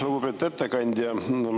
Lugupeetud ettekandja!